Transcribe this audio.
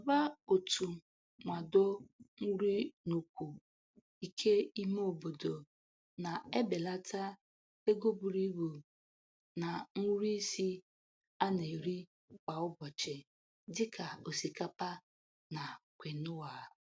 Ngalaba otu nwado nri n'ukwu ike ime obodo na-ebela ego buru ibu na nri isi a na-eri kwa ụbọchị dị ka osịkapa na kwinua.